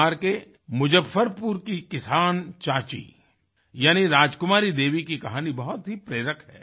बिहार के मुजफ्फरपुर की किसान चाची यानि राजकुमारी देवी की कहानी बहुत ही प्रेरक है